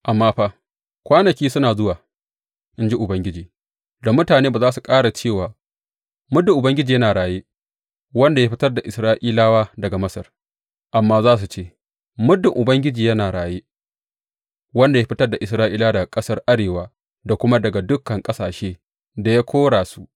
Amma fa, kwanaki suna zuwa, in ji Ubangiji, da mutane ba za su ƙara cewa, Muddin Ubangiji yana raye, wanda ya fitar da Isra’ilawa daga Masar,’ amma za su ce, Muddin Ubangiji yana raye, wanda ya fitar da Isra’ilawa daga ƙasar arewa da kuma daga dukan ƙasashe da ya kora su.’